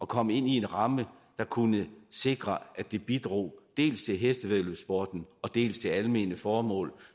kom ind i en ramme der kunne sikre at det bidrog dels til hestevæddeløbssporten dels til almene formål